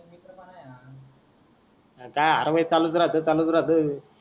अर काई आता चालूच राहत चालूच राहत